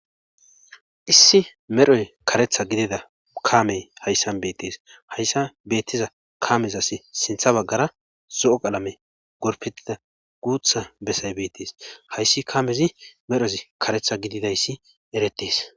Issi medhoy karetha gidida kaamey hayssan bettees hayssa beettiza kaamez asi sintha baggara zo'o qalame gorpetida guutha bessay beettees hayssi kaamezi medhozi karetha gididayssi eretees.